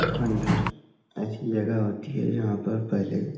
खंडह्र ऐसी जगह होती है जहाँ पर पहले --